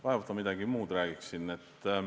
Vaevalt ma midagi muud räägiksin.